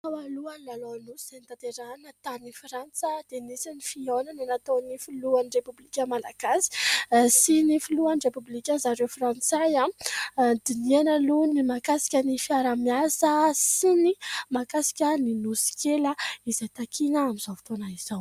Tao alohan'ny lalaon'ny nosy izay notanterahana tany frantsa dia nisy ny fihaonana nataon'ny filohan'ny repoblika Malagasy sy ny filohan'ny repoblika zareo Frantsay. Nodinihana aloha ny mahakasika ny fiaraha-miasa sy ny mahakasika ny Nosy kely izay takiana amin'izao fotoana izao.